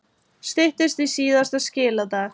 Styttist í síðasta skiladag